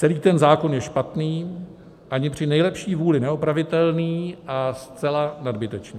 Celý ten zákon je špatný, i při nejlepší vůli neopravitelný a zcela nadbytečný.